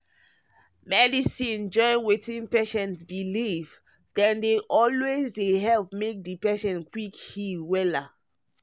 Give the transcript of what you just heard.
rest small. medicine join wetin patient believe dem dey always dey help make di patient quick heal wella.